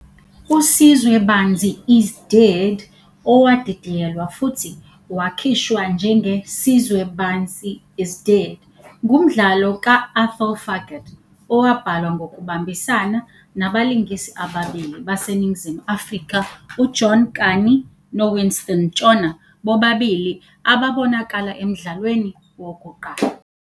USizwe Banzi Is Dead, owadidiyelwa futhi wakhishwa njenge- Sizwe Bansi is Dead, ngumdlalo ka- Athol Fugard, owabhalwa ngokubambisana nabalingisi ababili baseNingizimu Afrika, uJohn Kani noWinston Ntshona, bobabili ababonakala emdlalweni wokuqala.